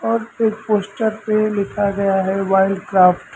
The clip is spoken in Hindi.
और एक पोस्टर पे लिखा गया है वाइल्डक्राफ्ट ।